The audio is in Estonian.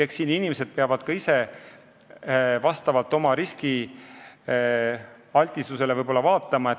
Inimesed peavad ka ise vaatama, vastavalt sellele, kui riskialtid nad on, millist fondi valida.